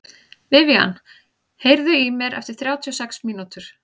Vivian, heyrðu í mér eftir þrjátíu og sex mínútur.